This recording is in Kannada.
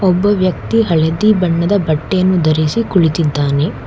ಒಬ್ಬ ವ್ಯಕ್ತಿ ಹಳದಿ ಬಣ್ಣದ ಬಟ್ಟೆಯನ್ನು ಧರಿಸಿ ಕುಳಿತಿದ್ದಾನೆ.